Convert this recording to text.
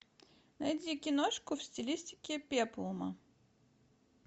найди киношку в стилистике пеплума